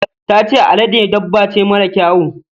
Ta ce alade dabba ce mara kyawu.